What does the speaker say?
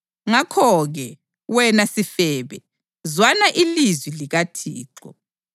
Ngakho-ke, wena sifebe, zwana ilizwi likaThixo!